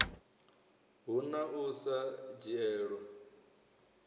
hu na u sa dzhielwa